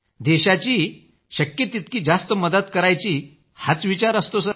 देशाची शक्य तितकी जास्त मदत करायची हाच विचार आमचा असतो सर